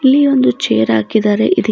ಇಲ್ಲಿ ಒಂದು ಚೇರ್ ಹಾಕಿದಾರೆ ಇದ್--